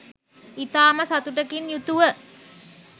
ඉතාම සතුටකින් යුතුව